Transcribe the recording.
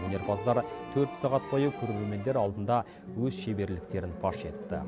өнерпаздар төрт сағат бойы көрермендер алдында өз шеберліктерін паш етті